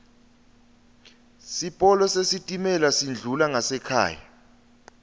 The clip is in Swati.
sipolo sesitimela sendlula ngasekhaya